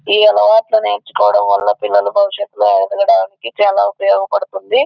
ఈ అలవాట్లు నేర్చుకోవడం వాళ్ళ పిల్లలు భవిష్యత్తు లొ ఎదగడానికి బాగా ఉప్పయోగపడుతుంది.